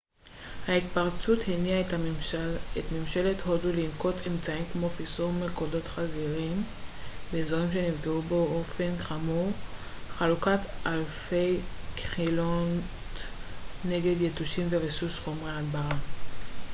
ההתפרצות הניעה את ממשלת הודו לנקוט אמצעים כמו פיזור מלכודות חזירים באזורים שנפגעו באופן חמור חלוקת אלפי כילות נגד יתושים וריסוס חומרי הדברה